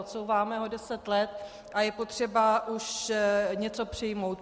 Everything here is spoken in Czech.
Odsouváme ho deset let a je potřeba už něco přijmout.